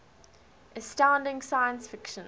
astounding science fiction